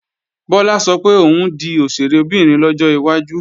Bọ́lá sọ pé òun ó di òṣèré obìnrin lọ́jọ́ iwájú